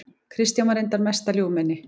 Kristján var reyndar mesta ljúfmenni.